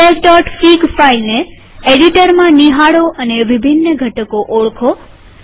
ફીડબેકફીગ file ને એડિટરમાં નિહાળો અને વિભિન્ન ઘટકોને ઓળખો